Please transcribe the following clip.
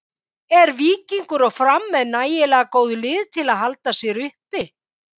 Eru Víkingur og Fram með nægilega góð lið til að halda sér uppi?